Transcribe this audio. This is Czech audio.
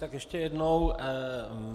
Tak ještě jednou.